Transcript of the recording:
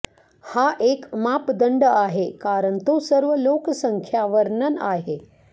हा एक मापदंड आहे कारण तो सर्व लोकसंख्या वर्णन आहे